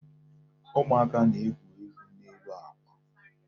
Ụmụaka na-egwu egwu n'elu àkwà.